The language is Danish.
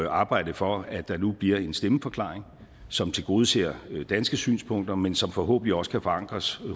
at arbejde for at der nu bliver en stemmeforklaring som tilgodeser danske synspunkter men som forhåbentlig også kan forankres